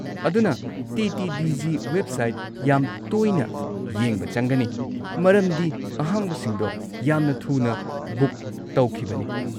ꯑꯗꯨꯅ TTDG website ꯌꯥꯝ ꯇꯣꯏꯅ ꯌꯦꯡꯕ ꯆꯪꯒꯅꯤ, ꯃꯔꯝꯗ ꯑꯍꯥꯡꯕꯁꯤꯡꯗꯣ ꯌꯥꯝ ꯊꯨꯅ ꯕꯨꯛ ꯇꯧꯈꯤꯕꯅꯤ꯫